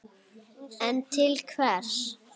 En til hvers?